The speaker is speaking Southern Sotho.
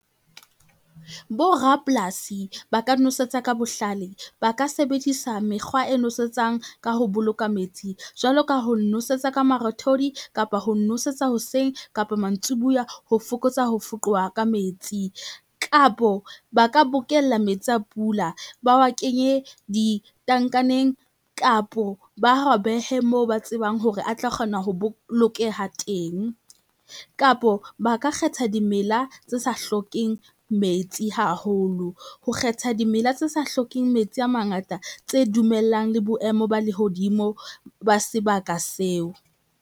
Borapolasi ba ka nosetsa ka bohlale ba ka sebedisa mekgwa e nwesetsang ka ho boloka metsi, jwalo ka ho nosetsa ka marothodi kapa ho nosetsa hoseng kapa mantsiboya, ho fokotsa ho foqowa ka metsi. Kapo ba ka bokella metsi a pula ba wa kenye ditankaneng kapo ba wa behe moo ba tsebang hore a tla kgona ho bolokeha teng, kapo ba ka kgetha dimela tse sa hlokeng metsi haholo, ho kgetha dimela tse sa hlokeng metsi a mangata tse dumellang le boemo ba lehodimo ba sebaka seo.